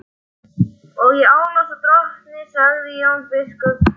Og ég álasa drottni, sagði Jón biskup.